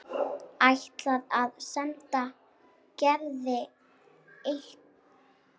Ætlar að senda Gerði eintak.